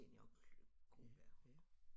Seniorgruppe